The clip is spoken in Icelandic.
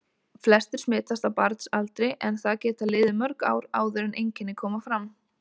Flestir smitast á barnsaldri en það geta liðið mörg ár áður en einkenni koma fram.